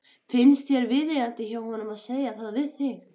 Finnst þér viðeigandi hjá honum að segja það við mig?